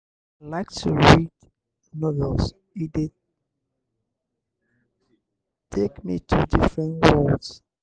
i like to read novels; e dey take dey take me to different worlds.